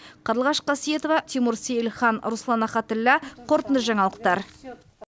қарлығаш қасиетова тимур сейілхан руслан рахатілла қорытынды жаңалықтар